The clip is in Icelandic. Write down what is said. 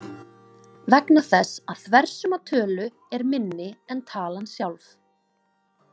Vegna þess að þversumma tölu er minni en talan sjálf.